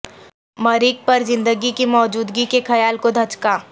مریخ پر زندگی کی موجودگی کے خیال کو دھچکا